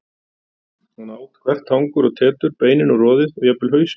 Hann át hvert tangur og tetur, beinin og roðið og jafnvel hausinn.